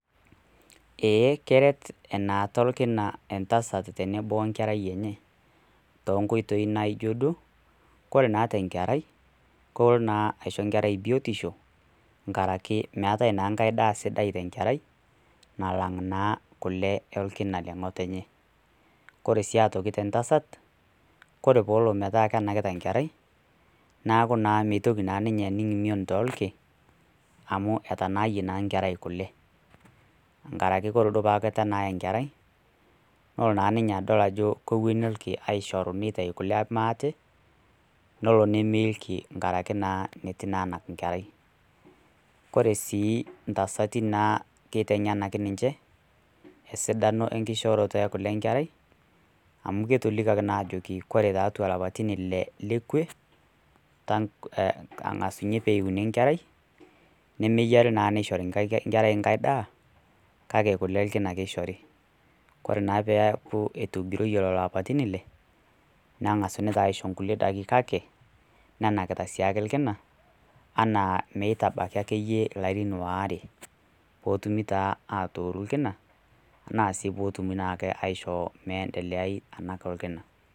Eeh, keret enaata olkina entasat tenebo wenkerai enye, tookoitoi naijo duo, kore naa te enkerai, kelo naa aisho enkerai biotisho, nkaraki meatai naa enkai daa sidai te enkerai, nalang' naa kule olkina le ng'otonye. Kore sii aitoki te entasat kore peelo metaa enakita enkerai neaku meitoki naa ninye atum mion toolkin, amu etanaayie naa enkerai kule, enkaraki kore duo teneitu enaaya enkerai neton naa ninye adol kewueni ilkin meishorita kule maate nelo nemeu ilki enkaraki naa eitu anak enkerai. Kore sii intasati naa keiteng'enaki ninche esidano enkiishooroto e kule enkerai amu ketolikioki ninye ajo koreajoki, kore ilapaitin ile le kwe, angasuni pee euni enkerai, nemeyare naa neishori enkerai enkai daa, kake kule olkina ake eishori. Kore naa pee eaku etogiroyie lelo apaitin ile neng'asuni naa aisho kulie daitin kake, nenakita sii ake ilkina anaa meitabaki ake iyie ilarin waare. Peetumi taa atooru ilkina anaa sii peetumi ake aisho meendeleai enak olkina.